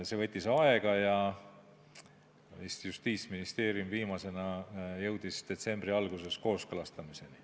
See võttis aega ja Justiitsministeerium oli viimane, kes jõudis detsembri alguses kooskõlastamiseni.